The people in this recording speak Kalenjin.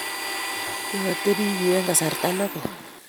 kiateben yu eng' kasarta negooi